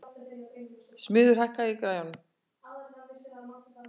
Smiður, hækkaðu í græjunum.